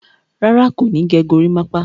Rárá, kò ní gẹ gorímápá.